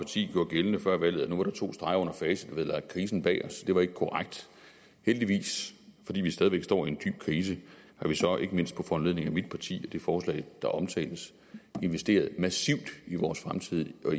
parti gjorde gældende før valget at nu var der to streger under facit og havde lagt krisen bag os det var ikke korrekt heldigvis fordi vi stadig væk står i en dyb krise har vi så ikke mindst på foranledning af mit parti det forslag der omtales investeret massivt i vores fremtid og